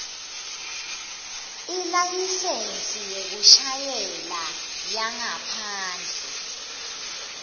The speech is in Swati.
ilayisensi yekushayela yangaphandle